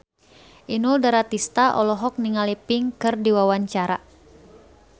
Inul Daratista olohok ningali Pink keur diwawancara